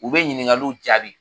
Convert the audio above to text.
U be ɲiningaliw jaabi